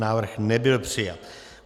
Návrh nebyl přijat.